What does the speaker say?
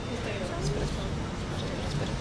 Chauri Chaura express